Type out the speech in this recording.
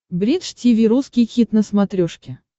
бридж тиви русский хит на смотрешке